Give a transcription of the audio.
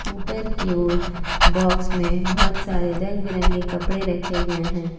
ऊपर की ओर बॉक्स में बहोत सारे रंग बिरंगे कपड़े रखे गए हैं।